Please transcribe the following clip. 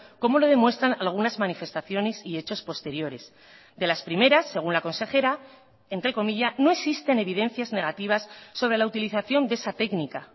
como lo demuestran algunas manifestaciones y hechos posteriores de las primeras según la consejera entrecomilla no existen evidencias negativas sobre la utilización de esa técnica